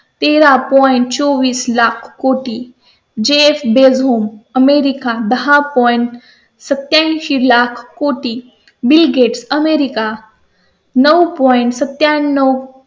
तेरा point चोवीस लाख कोटी जेफ बेझोस होऊन अमेरिका दहा पॉईंट point सत्या ऐंशी लाख कोटी बिल गेट्स अमेरिका नऊ पॉइंट point सत्त्या ण्णव